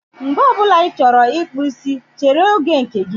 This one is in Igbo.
Mgbe ọ bụla ị chọrọ ịkpụ isi, chere oge nke gị.